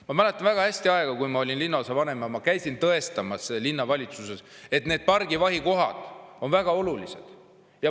Ma mäletan väga hästi aega, kui ma olin linnaosavanem ja käisin linnavalitsuses tõestamas, et need pargivahikohad on väga olulised.